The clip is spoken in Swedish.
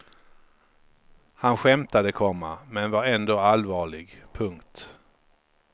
Han skämtade, komma men var ändå allvarlig. punkt